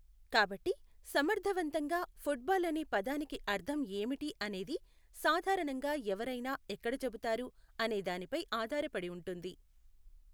కాబట్టి, సమర్థవంతంగా, ఫుట్బాల్ అనే పదానికి అర్థం ఏమిటి అనేది సాధారణంగా ఎవరైనా ఎక్కడ చెబుతారు అనే దానిపై ఆధారపడి ఉంటుంది.